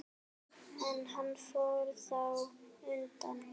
En hann fór þá undan.